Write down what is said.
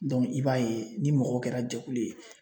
i b'a ye ni mɔgɔ kɛra jɛkulu ye